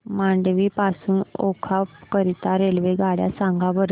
मांडवी पासून ओखा करीता रेल्वेगाड्या सांगा बरं